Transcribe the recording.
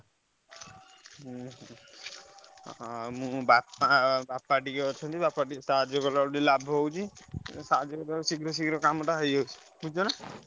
ହୁଁ ଆ ମୁଁ ବାପା ବାପା ଟିକେ ଅଛନ୍ତି। ବାପାଙ୍କୁ ଟିକେ ସାହାଯ୍ୟ କଲେ ଲାଭ ହଉଛି। ସାହାଯ୍ୟ କଲେ କାମ ଟା ଶୀଘ୍ର ଶୀଘ୍ର ହେଇଯାଉଛି ବୁଝୁଛ ନା।